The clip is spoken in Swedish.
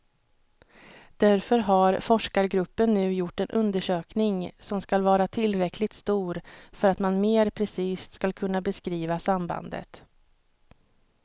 Därför har forskargruppen nu gjort en undersökning som skall vara tillräckligt stor för att man mer precist skall kunna beskriva sambandet.